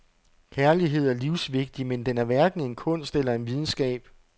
Kærlighed er livsvigtig, men den er hverken en kunst eller en videnskab.